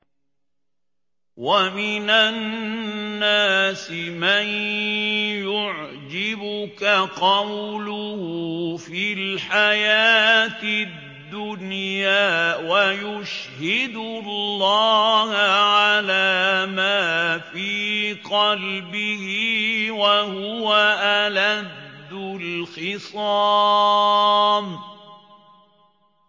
وَمِنَ النَّاسِ مَن يُعْجِبُكَ قَوْلُهُ فِي الْحَيَاةِ الدُّنْيَا وَيُشْهِدُ اللَّهَ عَلَىٰ مَا فِي قَلْبِهِ وَهُوَ أَلَدُّ الْخِصَامِ